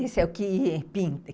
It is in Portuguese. Esse é o que pin